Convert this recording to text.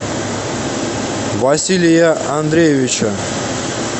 василия андреевича